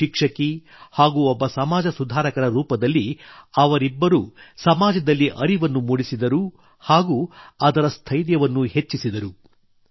ಒಬ್ಬ ಶಿಕ್ಷಕಿ ಹಾಗೂ ಒಬ್ಬ ಸಮಾಜ ಸುಧಾರಕರ ರೂಪದಲ್ಲಿ ಅವರಿಬ್ಬರು ಸಮಾಜದಲ್ಲಿ ಅರಿವನ್ನು ಮೂಡಿಸಿದರು ಹಾಗೂ ಅದರ ಸ್ಥೈರ್ಯವನ್ನೂ ಹೆಚ್ಚಿಸಿದರು